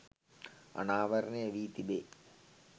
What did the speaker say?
අනාවරණය වී තිබේ